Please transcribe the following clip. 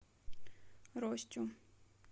ростю